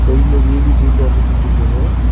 சைடுல வேலி போட்டு அமச்சு வச்சுருக்காங்க.